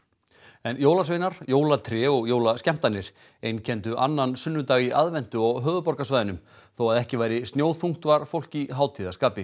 jólasveinar jólatré og jólaskemmtanir einkenndu annan sunnudag í aðventu á höfuðborgarsvæðinu þó að ekki væri snjóþungt var fólk í hátíðarskapi